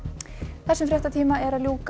þessum fréttatíma er að ljúka